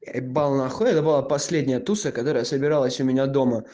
е н это была последняя турция которая собиралась у меня